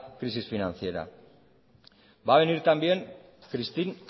crisis financiera va a venir también christine